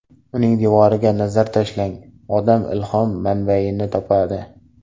Uning devoriga nazar tashlagan odam ilhom manbayini topadi”.